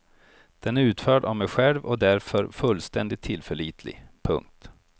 Den är utförd av mig själv och därför fullständigt tillförlitlig. punkt